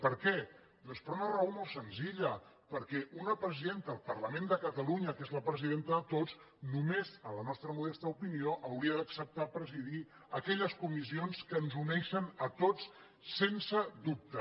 per què doncs per una raó molt senzilla perquè una presidenta del parlament de catalunya que és la presidenta de tots només en la nostra mo·desta opinió hauria d’acceptar presidir aquelles co·missions que ens uneixen a tots sense dubte